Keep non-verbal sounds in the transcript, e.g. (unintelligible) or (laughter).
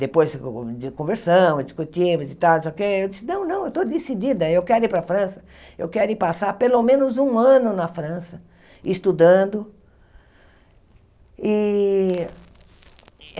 Depois (unintelligible) de conversamos, discutimos, e tal não sei o que eu disse, não, não, eu estou decidida, eu quero ir para a França, eu quero ir passar pelo menos um ano na França, estudando. E